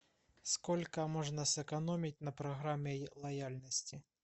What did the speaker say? сколько можно сэкономить на программе лояльности